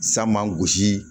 San man gosi